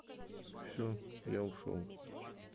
всё я ушёл